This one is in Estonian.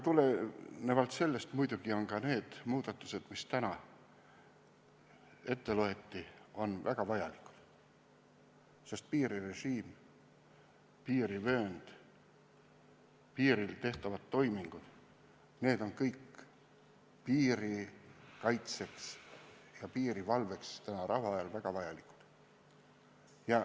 Seetõttu on muidugi ka need muudatused, mis täna ette loeti, väga vajalikud, sest piirirežiim, piirivöönd, piiril tehtavad toimingud on kõik piiri kaitseks ja piirivalveks praegu, rahuajal väga vajalikud.